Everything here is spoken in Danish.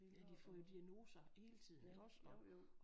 Ja de får jo diagnoser hele tiden iggås og